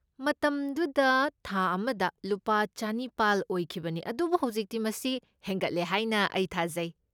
ꯃꯇꯝꯗꯨꯗ ꯊꯥ ꯑꯃꯗ ꯂꯨꯄꯥ ꯆꯅꯤꯄꯥꯜ ꯑꯣꯏꯈꯤꯕꯅꯤ ꯑꯗꯨꯕꯨ ꯍꯧꯖꯤꯛꯇꯤ ꯃꯁꯤ ꯍꯦꯟꯒꯠꯂꯦ ꯍꯥꯏꯅ ꯑꯩ ꯊꯥꯖꯩ꯫